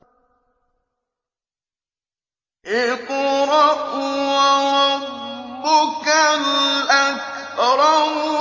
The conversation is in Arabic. اقْرَأْ وَرَبُّكَ الْأَكْرَمُ